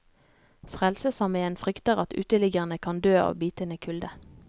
Frelsesarmeen frykter at uteliggerne kan dø av bitende kulde.